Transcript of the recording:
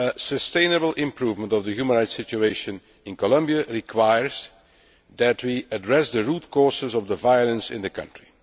Sustainable improvement of the human rights situation in Colombia requires us to address the root causes of the violence in the country.